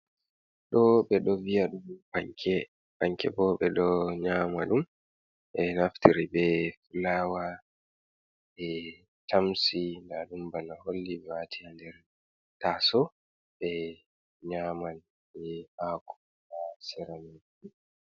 Ɗoo ɓe do vi'yaɗum panke, panke bo ɓe do nyama ɗum be naftiri be Fulawa ɓe tamsi na ɗum bana holli be waati ha nder taaso ɓe nyaman ni haako do seraman.